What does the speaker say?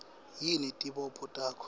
yini tibopho takho